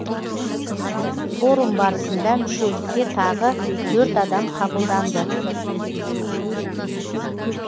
форум барысында мүшелікке тағы төрт адам қабылданды